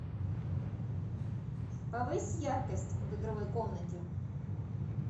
повысь яркость в игровой комнате